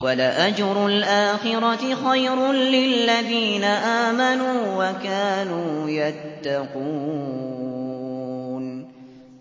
وَلَأَجْرُ الْآخِرَةِ خَيْرٌ لِّلَّذِينَ آمَنُوا وَكَانُوا يَتَّقُونَ